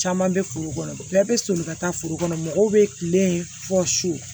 Caman bɛ foro kɔnɔ bɛɛ bɛ soli ka taa foro kɔnɔ mɔgɔw bɛ tile fɔ so